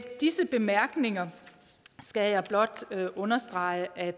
disse bemærkninger skal jeg blot understrege at